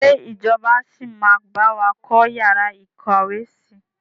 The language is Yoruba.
Ṣé ìjọba sì máa bawa kọ́ yàrá ìkàwé síí?